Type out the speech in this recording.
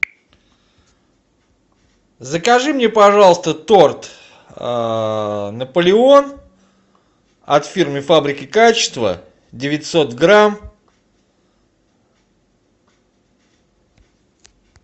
закажи мне пожалуйста торт наполеон от фирмы фабрика качества девятьсот грамм